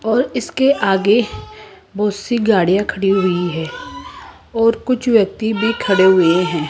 और इसके आगे बहुत सी गाड़ियां खड़ी हुई है और कुछ व्यक्ति भी खड़े हुए हैं।